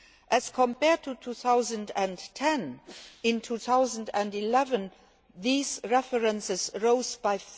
As compared to 2010, in 2011 these references rose